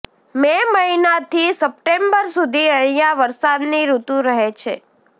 મે મહિનાથી સપ્ટેમ્બર સુધી અહિયાં વરસાદની ઋતુ રહે છે